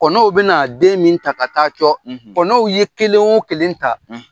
Kɔnɔw bɛ n'a den min ta ka taa cɔ , kɔnɔw ye kelen wo kelen ta